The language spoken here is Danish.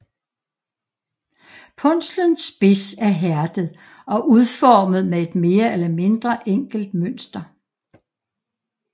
Punslens spids er hærdet og udformet med et mere eller mindre enkelt mønster